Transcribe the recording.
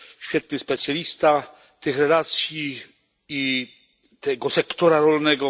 świetny specjalista tych relacji i tego sektora rolnego.